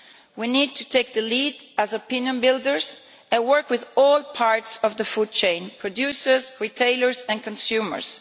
We need to take the lead as opinion builders and work with all parts of the food chain producers, retailers and consumers.